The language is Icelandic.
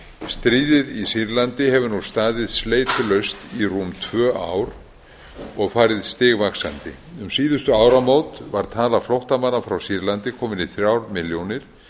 stríðið í sýrlandi hefur nú staðið sleitulaust í rúm tvö ár og farið stigvaxandi um síðustu áramót var tala flóttamanna frá sýrlandi komin í þrjár milljónir